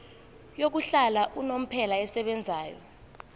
yokuhlala unomphela esebenzayo